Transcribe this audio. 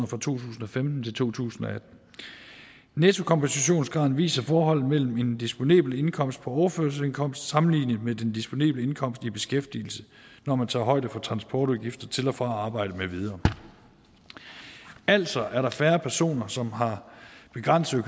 to tusind og femten til to tusind og atten nettokompensationsgraden viser forholdet mellem en disponibel indkomst på overførselsindkomst sammenlignet med den disponible indkomst i beskæftigelse når man tager højde for transportudgifter til og fra arbejde med videre altså er der færre personer som har begrænsede